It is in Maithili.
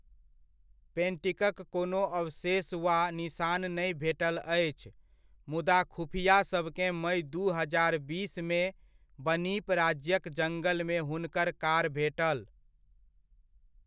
पेंटिकक कोनो अवशेष वा निसान नहि भेटल अछि, मुदा खुफिआसभकेँ मइ दू हजार बीसमे, बनीप राज्यक जङ्गलमे हुनकर कार भेटल।